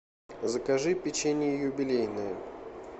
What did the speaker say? закажи печенье юбилейное